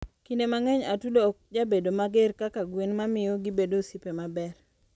kinde mangeny atudo okjabedo mager kka gwen mamiyo gibedo osiepe maber.